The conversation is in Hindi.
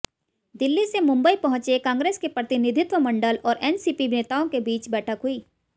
दिल्ली से मुंबई पहुंचे कांग्रेस के प्रतिनिधित्व मंडल और एनसीपी नेताओं के बीच बैठक हुई